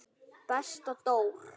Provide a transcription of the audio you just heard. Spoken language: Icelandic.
Besta Dór.